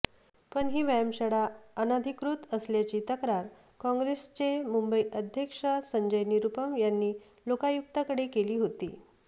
पण ही व्यायामशाळा अनधिकृत असल्याची तक्रार काँग्रेसचे मुंबई अध्यक्ष संजय निरुपम यांनी लोकायुक्तांकडे केली होती